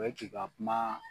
o ye k'i ka kuma